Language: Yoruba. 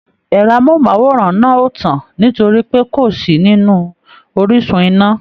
Ẹrọ amohunmaworan náà o tán nitori pé kó sí nínú orísun iná.